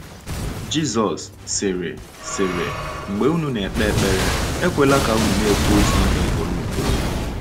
Jizọs sịrị: sịrị: “Mgbe unu na -ekpe ekpere, ekwela ka unu na -ekwu otu ihe ugboro ugboro.”